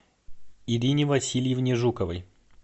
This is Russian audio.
ирине васильевне жуковой